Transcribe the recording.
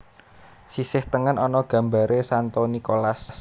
Sisih tengen ana gambaré Santo Nikolas